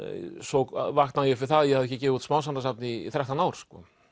svo vaknaði ég upp við að ég hafði ekki gefið út smásagnasafn í þrettán ár